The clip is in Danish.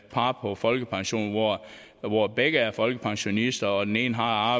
par på folkepension hvor begge er folkepensionister og den ene har